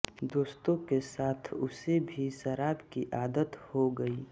दोस्तों के साथ उसे भी शराब की आदत हो गई